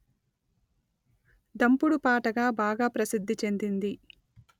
దంపుడు పాటగా బాగా ప్రసిద్ధి చెందింది